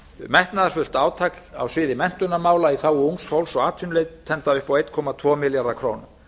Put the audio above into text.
metnaðarfullt átak á sviði menntunarmála í þágu ungs fólks og atvinnuleitenda upp á einum komma tvo milljarða króna